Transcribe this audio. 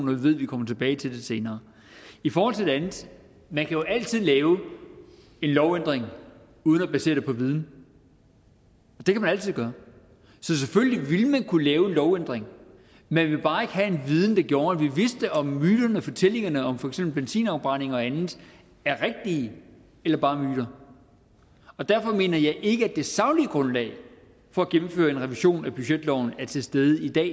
vi ved at vi kommer tilbage til det senere i forhold til det andet man kan jo altid lave en lovændring uden at basere det på viden det kan man altid gøre så selvfølgelig ville man kunne lave en lovændring man ville bare ikke have en viden der gjorde at vi vidste om myterne og fortællingerne om for eksempel benzinafbrænding og andet er rigtige eller bare er myter derfor mener jeg ikke at det saglige grundlag for at gennemføre en revision af budgetloven er til stede i dag